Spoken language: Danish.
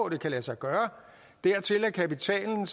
det kan lade sig gøre dertil er kapitalen